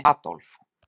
Adólf